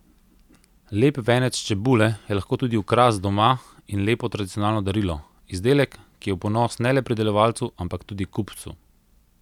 Lep venec čebule je lahko tudi okras doma in lepo tradicionalno darilo, izdelek, ki je v ponos ne le pridelovalcu, ampak tudi kupcu.